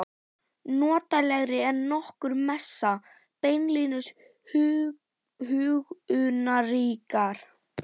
Notalegri en nokkur messa, beinlínis huggunarríkar.